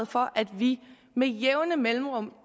for at vi med jævne mellemrum